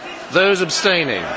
Those abstaining.